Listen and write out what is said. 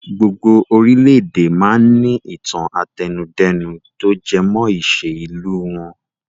Gbogbo orílédé máa ń ní ìtàn àtẹnudẹ́nu to jẹ mọ́ ìṣe ìlú wọn.